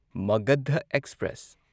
Magadh express